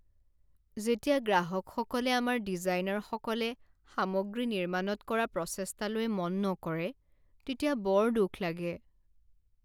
যেতিয়া গ্ৰাহকসকলে আমাৰ ডিজাইনাৰসকলে সামগ্ৰী নিৰ্মাণত কৰা প্ৰচেষ্টালৈ মন নকৰে তেতিয়া বৰ দুখ লাগে।